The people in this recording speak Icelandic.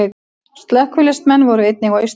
Slökkviliðsmenn voru einnig á Austurvelli